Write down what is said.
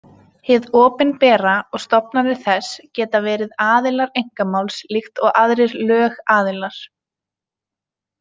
Hið opinbera og stofnanir þess geta verið aðilar einkamáls líkt og aðrir lögaðilar.